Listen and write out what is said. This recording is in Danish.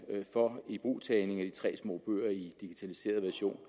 for ibrugtagning af de tre små bøger i digitaliseret version